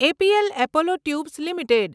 APL Apollo tubes limited